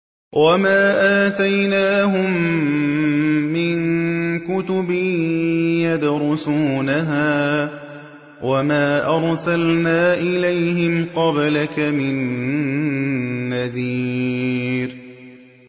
وَمَا آتَيْنَاهُم مِّن كُتُبٍ يَدْرُسُونَهَا ۖ وَمَا أَرْسَلْنَا إِلَيْهِمْ قَبْلَكَ مِن نَّذِيرٍ